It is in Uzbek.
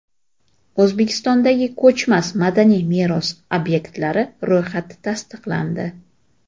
O‘zbekistondagi ko‘chmas madaniy meros obyektlari ro‘yxati tasdiqlandi.